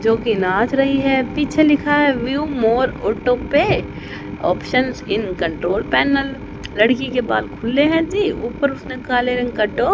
जोकि नाच रही है पीछे लिखा है view more auto pay options in control panel लड़की के बाल खुले हैं जी ऊपर उसने काला रंग का टो--